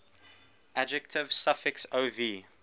adjective suffix ov